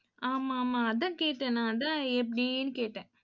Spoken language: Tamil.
ஆமா, ஆமா அதான் கேட்டேன் நான் அதான் எப்படின்னு கேட்டேன்.